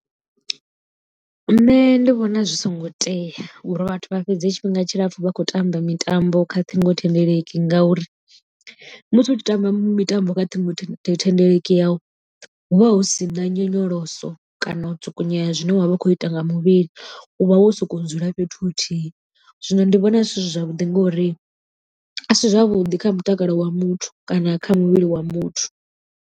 Nṋe ndi vhona zwi songo tea uri vhathu vha fhedze tshifhinga tshilapfhu vha khou tamba mitambo kha ṱhingothendeleki ngauri, musi utshi tamba mitambo kha ṱhingo thendeleki yau hu vha hu si na nyonyoloso kana u tsukunyea zwine wa vha u khou ita nga muvhili u vha wo sokou dzula fhethu huthihi zwino ndi vhona zwi si zwavhuḓi ngori a si zwavhuḓi kha mutakalo wa muthu kana kha muvhili wa muthu.